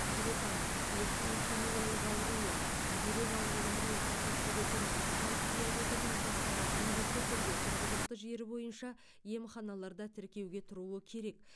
күретамыр жүректің ишемиялық ауруы жүрек ауруларымен қатар жүретін қант диабеті науқастары міндетті түрде тұрғылықты жері бойынша емханаларда тіркеуге тұруы керек